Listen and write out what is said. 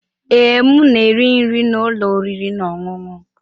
Ee, m na-eri nri na ụlọ oriri na ọṅụṅụ.